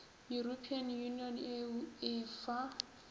european union eu e fa